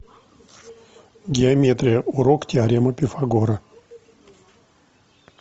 геометрия урок теорема пифагора